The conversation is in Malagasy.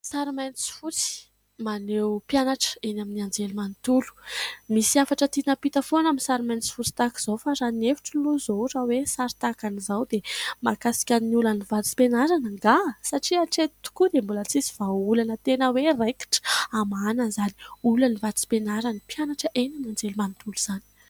Sary mainty sy fotsy maneho mpianatra eny amin'ny anjelimanontolo. Misy hafatra tina ampita foana amin'ny sary mainty sy fotsy tahaka izao. Fa raha ny hevitro alo zao raha hoe sary tahaka an'izao dia mahakasika ny olan'ny vatsim-pianarana angaha ? Satria hatreto tokoa dia mbola tsisy vahaolana tena hoe raikitra hamahana izany olany vatsim-pianaran'ny mpianatra eny amin'ny anjelimanontolo izany.